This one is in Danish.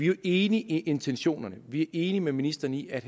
jo enige i intentionerne og vi er enige med ministeren i at